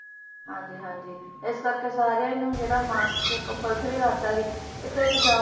ਹਾਂਜੀ ਹਾਂਜੀ ਇਸ ਕਰਕੇ ਸਾਰਿਆਂ ਨੂੰ ਜਿਹੜਾ mask compulsory ਕਰਤਾ ਸੀ ਕਿਤੇ ਵੀ ਜਾਓ